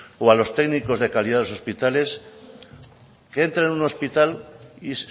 o a los técnicos de calidad de los hospitales que entren en un hospital y